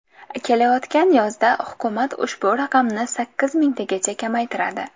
Kelayotgan yozda hukumat ushbu raqamni sakkiz mingtagacha kamaytiradi.